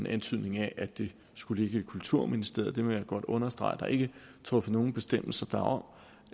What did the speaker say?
antydning af at det skulle ligge i kulturministeriet men jeg vil godt understrege at der ikke er truffet nogen bestemmelse om